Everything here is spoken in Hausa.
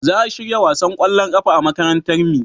za a shirya wasan kwallon kafa a makarantar mi